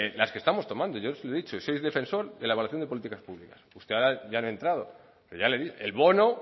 las que estamos tomando yo se lo he dicho soy defensor de la evaluación de políticas públicas usted ahora ya ha entrado pero ya le digo el bono